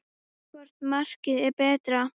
Hvort markið er betra?